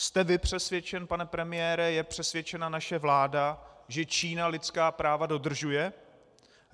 Jste vy přesvědčen, pane premiére, je přesvědčena naše vláda, že Čína lidská práva dodržuje?